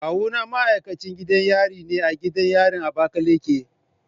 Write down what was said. Kawuna ma'aikacin gidan yari ne a gidan yarin Abakaleki.